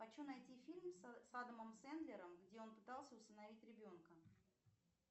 хочу найти фильм с адамом сэндлером где он пытался усыновить ребенка